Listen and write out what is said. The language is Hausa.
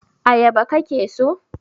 ayaba ka ke so!